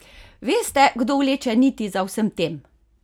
Veste, kdo vleče niti za vsem tem?